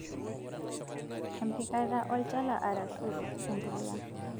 Empikata olchala arashua empulia.